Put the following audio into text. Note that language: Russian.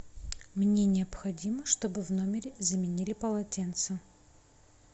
мне необходимо чтобы в номере заменили полотенце